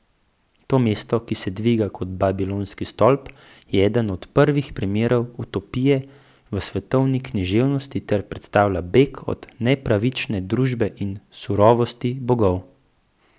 To mesto, ki se dviga kot Babilonski stolp, je eden prvih primerov utopije v svetovni književnosti ter predstavlja beg od nepravične družbe in surovosti bogov.